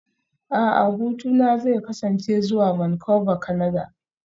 A'a hutuna zai kasance zuwa Vancouver, Kanada